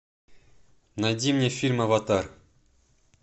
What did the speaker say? найди мне фильм аватар